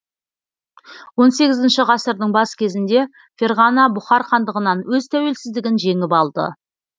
он сегізінші ғасырдың бас кезінде ферғана бұхар хандығынан өз тәуелсіздігін жеңіп алды